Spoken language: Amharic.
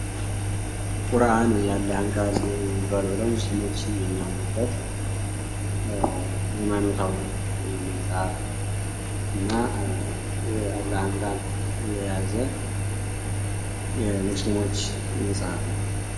ቁርአን የ አላህን ቃል ይዟል ብለው ሙስሊሞችን የሚያምኑበት ሀይማኖታዊ የመጽሐፍ እና የአላህን ቃል የያዘ የሙስሊሞች መፅሃፍ ነው።